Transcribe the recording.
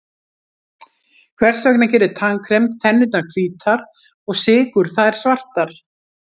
Hvers vegna gerir tannkrem tennurnar hvítar og sykur þær svartar?